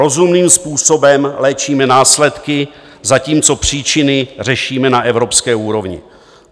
Rozumným způsobem léčíme následky, zatímco příčiny řešíme na evropské úrovni.